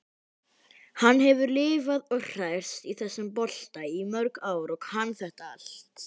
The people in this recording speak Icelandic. Hann hefur lifað og hrærst í þessum bolta í mörg ár og kann þetta allt.